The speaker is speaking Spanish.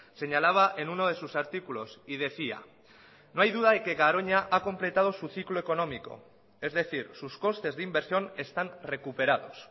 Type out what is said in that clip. señalaba en uno de sus artículos y decía no hay duda de que garoña ha completado su ciclo económico es decir sus costes de inversión están recuperados